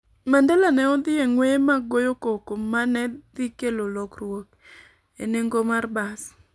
Mandela ne odhi e ng'weye mag goyo koko ma ne dhi kelo lokruok e nengo mar bas.